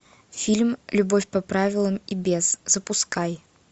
фильм любовь по правилам и без запускай